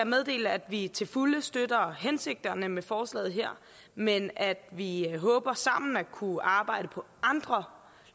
meddele at vi til fulde støtter hensigten med forslaget her men at vi håber sammen at kunne arbejde på andre